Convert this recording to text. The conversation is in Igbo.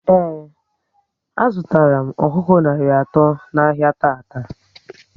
Ee, a zụtara m ọkụkọ narị atọ n'ahia tata